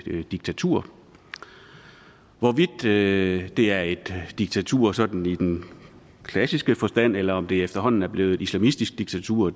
diktatur hvorvidt det er et diktatur sådan i den klassiske forstand eller om det efterhånden er blevet et islamistisk diktatur